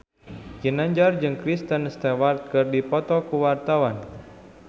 Ginanjar jeung Kristen Stewart keur dipoto ku wartawan